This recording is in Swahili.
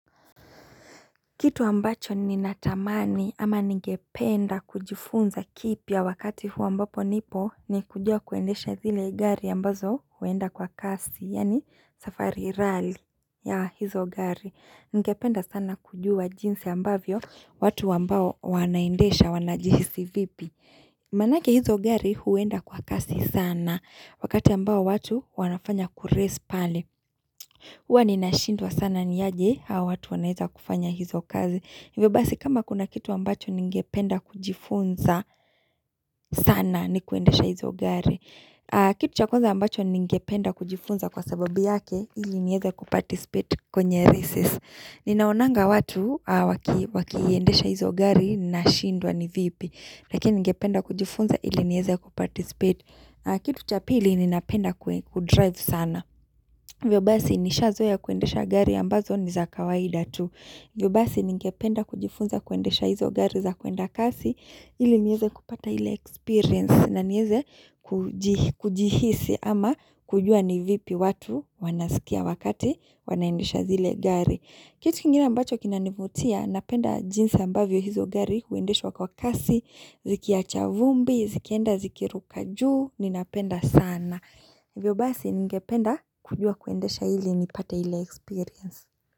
Kitu ambacho ninatamani ama ningependa kujifunza kipya wakati huu ambapo nipo ni kujua kuendesha zile gari ambazo huenda kwa kasi yani safari rally ya hizo gari ningependa sana kujua jinsi ambavyo watu ambao wanaendesha wanajihisi vipi Manake hizo gari huenda kwa kasi sana wakati ambao watu wanafanya kurace pale Huwa nina shindwa sana ni aje, hawa watu wanaeza kufanya hizo kazi. Hivyo basi kama kuna kitu ambacho ningependa kujifunza sana ni kuendesha hizo gari. Kitu cha kwanza ambacho ningependa kujifunza kwa sababu yake, ili nieza kuparticipate kwenye races. Ninaonanga watu wakiendesha hizo gari, nina shindwa ni vipi. Lakini ningependa kujifunza ili nieze kuparticipate. Kitu cha pili ninapenda kudrive sana. Hivyo basi nishazoea kuendesha gari ambazo ni za kawaida tu. Hivyo basi ningependa kujifunza kuendesha hizo gari za kuenda kasi ili nieze kupata ile experience na nieze kujihisi ama kujua ni vipi watu wanasikia wakati wanaendisha zile gari. Kitu kingine ambacho kinanivutia, napenda jinsi ambavyo hizo gari huendeshwa kwa kasi, zikiacha vumbi, zikienda ziki ruka juu, ninapenda sana. Hivyo basi, ningependa kujua kuendesha ili, nipate ile experience.